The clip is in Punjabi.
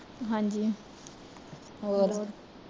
ਹਾਂਜੀ